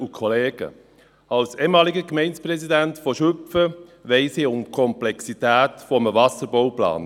Als ehemaliger Gemeindepräsident von Schüpfen weiss ich um die Komplexität eines Wasserbauplans;